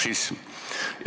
Hoiatus".